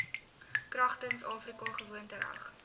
kragtens afrika gewoontereg